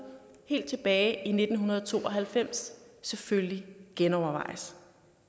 helt tilbage i nitten to og halvfems selvfølgelig genovervejes